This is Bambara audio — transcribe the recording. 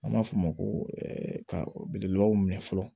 An b'a fɔ o ma ko belebelew minɛ fɔlɔ